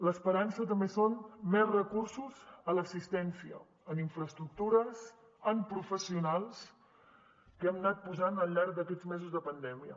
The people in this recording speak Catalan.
l’esperança també són més recursos a l’assistència en infraestructures en professionals que hem anat posant al llarg d’aquests mesos de pandèmia